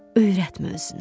Öyrətmə özünə.